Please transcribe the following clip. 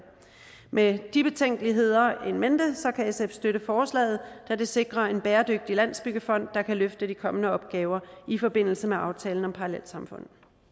med de betænkeligheder in mente kan sf støtte forslaget da det sikrer en bæredygtig landsbyggefond der kan løfte de kommende opgaver i forbindelse med aftalen om parallelsamfund